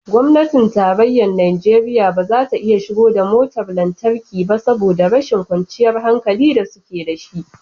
Gwamnatin tarayyar Najeriya ba za ta iya shigo da motar lantarki ba saboda rashin kwanciyar hankali da suke da shi